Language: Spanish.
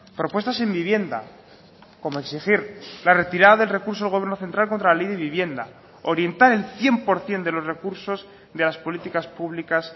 propuestas en vivienda como exigir la retirada del recurso del gobierno central contra la ley de vivienda orientar el cien por ciento de los recursos de las políticas públicas